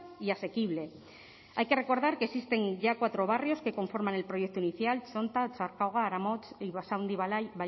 y asequible hay que recordar que existen ya cuatro barrios que conforman el proyecto inicial txonta otxarkoaga aramotz y basaundi